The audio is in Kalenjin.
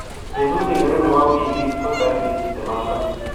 Betut ngiro nebo wiikit ko tarik tuptem ak loo